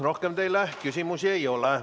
Rohkem teile küsimusi ei ole.